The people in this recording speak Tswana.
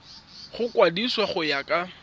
go mokwadise go ya ka